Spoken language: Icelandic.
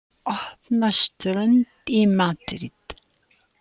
Opna strönd í Madríd